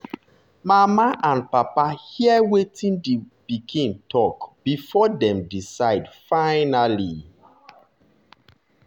mama and papa hear wetin di wetin di pikin dem talk before dem decide finally.